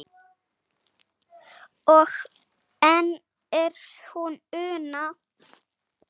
og enn er hún Una